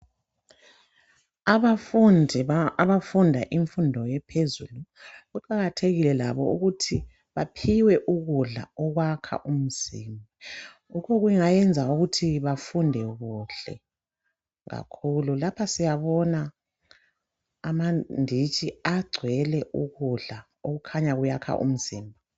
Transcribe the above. Abafundi abafunda imfundo ephezulu kuqakathekile labo ukuthi baphiwe ukudla okwakha umzimba lokho okungayenza ukuthi bafunde kuhle kakhulu. Lapha siyabona amanditshi agcwele ukudla okukhanya kuyakha umzimba.